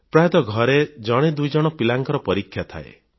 ପ୍ରାୟତଃ ଘରେ ଜଣେ ଦୁଇଜଣ ପିଲାଙ୍କର ପରୀକ୍ଷା ଥାଏ